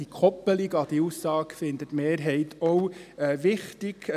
Die Koppelung an diese Aussage findet die Mehrheit auch wichtig.